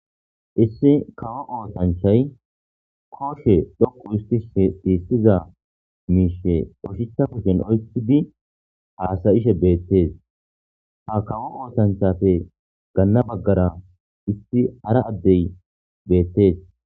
issi kawo ootanchay kooshe dhoqu isti sh siissiza miishe qoshicha kushen oyi di haasayishe beettees ha kawo ootanchafe ganna baggara issi hara addey beettees